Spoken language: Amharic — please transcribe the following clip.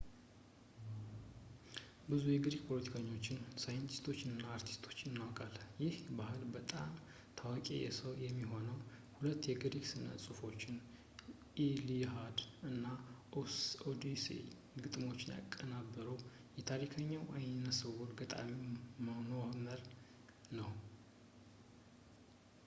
ብዙ የግሪክ ፖለቲከኞች ሳይንቲስቶች እና አርቲስቶችን እናውቃለን የዚህ ባህል በጣም ታዋቂው ሰው የሚሆነው ሁለት የግሪክ ስነ ጽሁፎችን ኢሊኣድ እና ኦድሴይ ግጥሞችን ያቀናበረው ታሪከኛው አይነስውር ገጣሚ ሆመር ነው